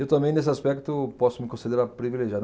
Eu também, nesse aspecto, posso me considerar privilegiado.